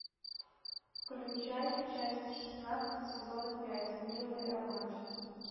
включай часть шестнадцать сезона пять милые обманщицы